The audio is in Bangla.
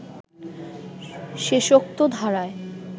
শেষোক্ত ধারায়